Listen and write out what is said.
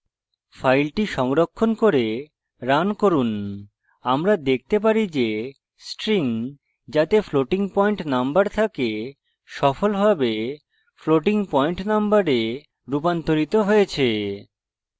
file সংরক্ষণ করে run করুন আমরা দেখতে পারি যে string যাতে floating পয়েন্ট number থাকে সফলভাবে floating পয়েন্ট number রুপান্তরিত হয়েছে